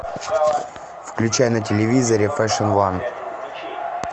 включай на телевизоре фэшн ван